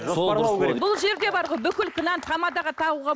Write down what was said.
бұл жерде бүкіл кінәні тамадаға тағуға